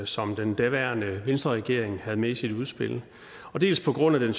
som den daværende venstreregering havde med i sit udspil og dels på grund af